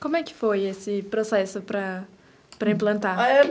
Como é que foi esse processo para implantar?